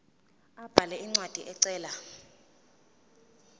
abhale incwadi ecela